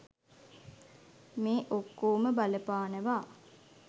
මේ ඔක්කෝම බලපානවා.